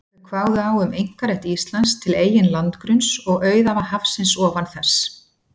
Þau kváðu á um einkarétt Íslands til eigin landgrunns og auðæfa hafsins ofan þess.